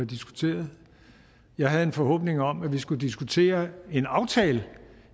diskuteret jeg havde en forhåbning om at vi skulle diskutere en aftale